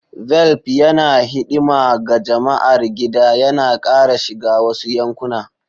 Velp yana hidima ga jama'ar gida, yana ƙara shiga wasu yankuna.